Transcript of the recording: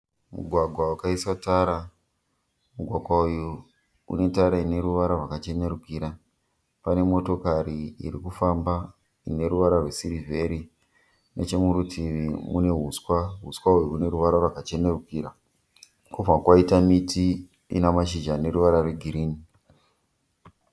Mugwagwa wakaiswa tara. Mugwagwa uyu une tara ine ruvara rwakachenurukira. Pane motokari irikufamba ine ruvara rwesirivheri. Nechemurutivi mune huswa. Huswa uhu hune ruvara rwakachenurukira. Kwobva kwaita miti ina mashizha ane ruvara rwegirini.